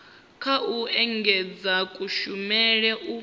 nga u engedzedza kushumele u